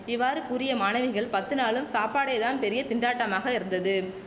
இவ்வாறு கூறிய மாணவிகள் பத்து நாளும் சாப்பாடே தான் பெரிய திண்டாட்டமாக இருந்தது